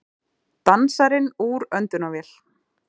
Dansarinn úr öndunarvél